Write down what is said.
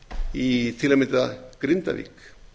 í til að mynda grindavík